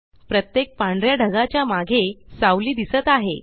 प्रत्येक पांढऱ्या ढगाच्या मागे सावली दिसत आहे